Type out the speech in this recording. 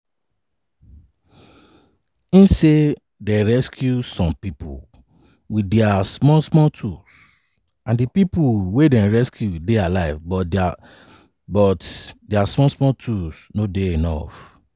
im say dem rescue some pipo wit dia small small tools and di pipo wey dem rescue dey alive but dia small small tools no dey enuf.